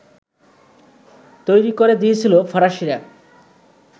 তৈরি করে দিয়েছিল ফরাসিরা